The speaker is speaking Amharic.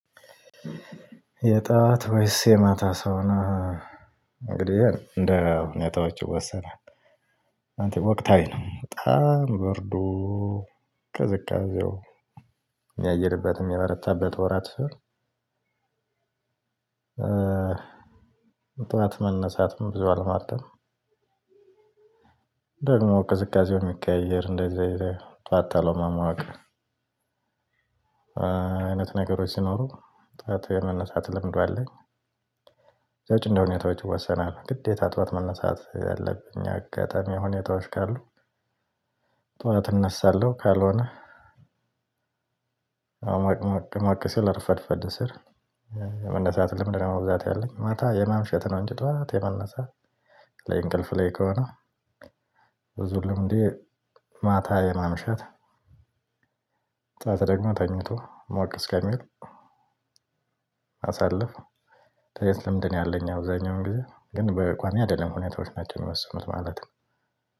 የጧት ወይስ የማታ ሰው ነው እንግዲህ እንደ ሁኔታዎች ይወሰናል አንተ ወቅታዊ ነው በጣም በርዶ ቅዝቃዜው የሚያይልበት የሚበረታበት ወራት። ጠዋት መነሳትም ብዙ አልመርጥም። ደግሞ ቅዝቃዜውን የሚቀያየር እንደዚህ አየር ጠዋት። አይነት ነገሮች ሲኖሩ ጠዋት የመነሳት ልምዱ አለኝ። ከዛ ውጭ እንደሆኔታዎች ይወሰናሉ ግዴታ ጠዋት መነሳት ያለብኝ አጋጣሚዎች ሁኔታዎች ካሉ። ጥዋት እነሳለሁ ካልሆነ። አሞቅሞቅሞቅ ሲል ረፈድፈድ ሲል መነሳት ልምድነው በብዛት ያለኝ ማታ የማምሸት ነው። እንጂ ጠዋት የመነሳት ላይ እንቅልፍ ላይ ከሆነ ብዙ ልምዴ። ማታ የማምሸት ጠዋት ደግሞ ተኝቶ ሞቅ እስከሚል አሳልፍ መተኘት ልምንድነው ያለኝ። አብዛኛውን ግዜ ግን በቋሚ አይደለም ሁኔታዎች ናቸው የሚወስኑት ማለት ነው።